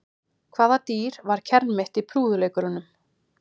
Hvaða dýr var kermit í prúðuleikurunum?